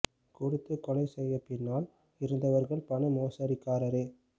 கொடுத்து கொலை செய்ய பின்னால் இருந்தவ்ர்கள் பணமோசடிக்காரரே